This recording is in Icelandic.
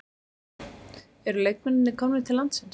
Eru leikmennirnir komnir til landsins?